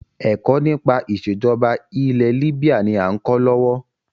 Ẹ̀kọ́ nípa ìsèjọba ilẹ̀ libya ni a ń kọ́ lọ́wọ́.